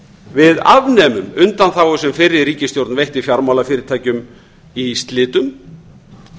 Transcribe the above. við afnemum undanþágu sem fyrri ríkisstjórn veitti fjármálafyrirtækjum í slitum